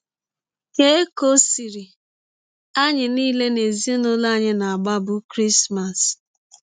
Keikọ sịrị: “ Anyị niile n’ezinụlọ anyị na - agbabụ Krismas.